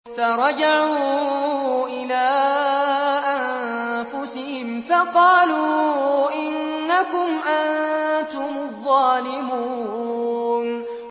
فَرَجَعُوا إِلَىٰ أَنفُسِهِمْ فَقَالُوا إِنَّكُمْ أَنتُمُ الظَّالِمُونَ